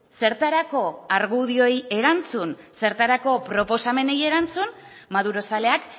zertarako argudioei erantzun zertarako proposamenei erantzun madurozaleak